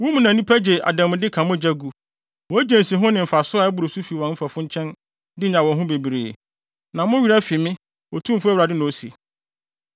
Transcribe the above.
Wo mu na nnipa gye adanmude ka mogya gu; wogye nsiho ne mfaso a ɛboro so fi wɔn mfɛfo nkyɛn de nya wɔn ho bebree. Na mo werɛ afi me, Otumfo Awurade na ose.